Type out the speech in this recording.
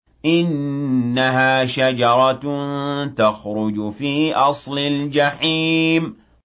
إِنَّهَا شَجَرَةٌ تَخْرُجُ فِي أَصْلِ الْجَحِيمِ